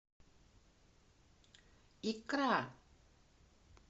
икра